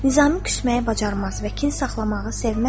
Nizami küsməyi bacarmaz və kin saxlamağı sevməzdi.